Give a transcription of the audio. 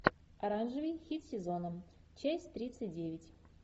оранжевый хит сезона часть тридцать девять